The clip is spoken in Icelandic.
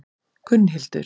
Gunnhildur